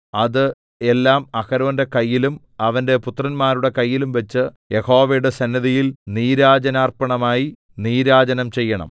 അത് എല്ലാം അഹരോന്റെ കയ്യിലും അവന്റെ പുത്രന്മാരുടെ കയ്യിലും വച്ച് യഹോവയുടെ സന്നിധിയിൽ നീരാജനാർപ്പണമായി നീരാജനം ചെയ്യണം